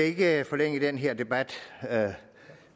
ikke forlænge den her debat